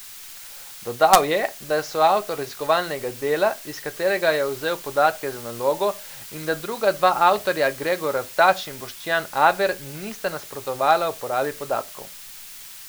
Dodal je, da je soavtor raziskovalnega dela, iz katerega je vzel podatke za nalogo, in da druga dva avtorja, Gregor Artač in Boštjan Aver, nista nasprotovala uporabi podatkov.